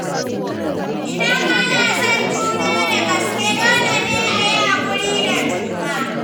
Idan ana son juna da gaske, dole ne a yi hakuri da juna.